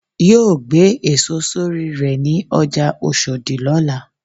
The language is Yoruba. yóò gbé èso sorí rè ní ọjà oshodi lọ́la.